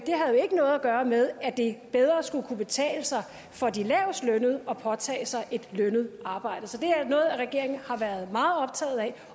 gøre med at det bedre skulle kunne betale sig for de lavestlønnede at påtage sig et lønnet arbejde så det er noget regeringen har været meget optaget af